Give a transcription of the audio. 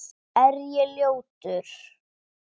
Er ég ljótur?